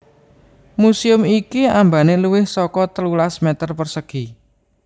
Museum iki ambané luwih saka telulas meter persegi